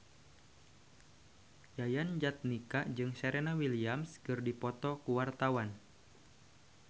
Yayan Jatnika jeung Serena Williams keur dipoto ku wartawan